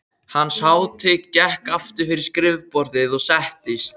Hans hátign gekk aftur fyrir skrifborðið og settist.